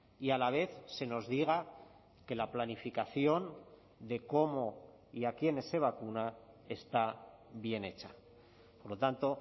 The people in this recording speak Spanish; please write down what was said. y a la vez se nos diga que la planificación de cómo y a quiénes se vacuna está bien hecha por lo tanto